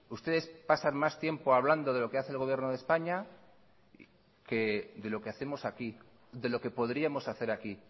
ustedes pasan más tiempo hablando de lo que hace el gobierno de españa que de lo que hacemos aquí de lo que podríamos hacer aquí